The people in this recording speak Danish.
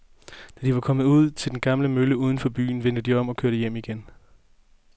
Da de var kommet ud til den gamle mølle uden for byen, vendte de om og kørte hjem igen.